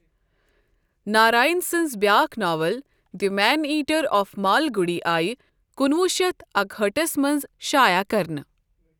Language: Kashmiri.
ناراین سٕنز بیاکھ novel the man eater of Malgudi آیہ کُنہٕ وُہ شتھ اکہٲٹھس منز شایعہ کرنہٕ ۔